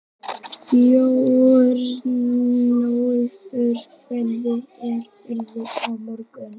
Björnólfur, hvernig er veðrið á morgun?